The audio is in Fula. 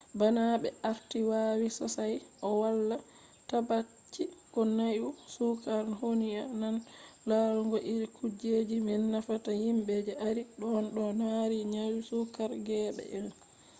bana ɓe arti wawi sossay o wala tabbaci ko nyau sukar ho'inan larugo iri kujeji may nafata yimɓe je arti ɗon no mari nyau sukar geeɓe 1